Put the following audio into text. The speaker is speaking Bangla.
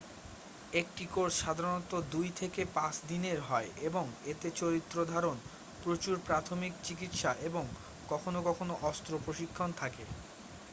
একটি কোর্স সাধারণত 2-5 দিনের হয় এবং এতে চরিত্রধারন প্রচুর প্রাথমিক চিকিৎসা এবং কখনো কখনো অস্ত্র প্রশিক্ষণ থাকে